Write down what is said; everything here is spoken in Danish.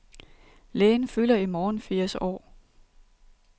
Lægen fylder i morgen firs år.